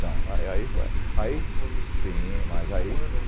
São, eh ai foi aí, foi esse, sim, diz